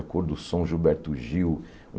A Cor do Som, Gilberto Gil.